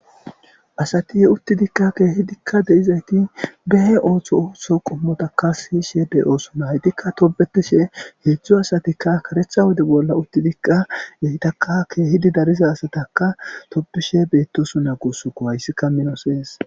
asati he utti dikka keehidikka de7izayti behe ooththo ootho qommotakka siyishe bey ooso naytikka tobetishe heedzdzu asatikka karecha wode bolla uttidikka yeitaka keehidi dariza asataka tobishe beettosu na gusuko hayssikka minosees